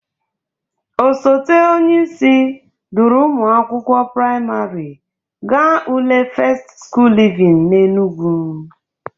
Osote onyeisi duru ụmụ akwụkwọ prịmarị ga ule fest skul livin n'Enugwu.